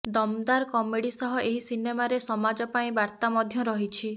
ଦମଦାର କମେଡି ସହ ଏହି ସିନେମାରେ ସମାଜ ପାଇଁ ବାର୍ତା ମଧ୍ୟ ରହିଛି